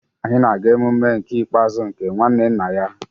Anyị na-aga emume nke ikpeazụ nke nwanne nna ya